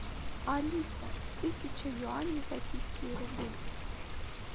алиса тысяча юаней в российские рубли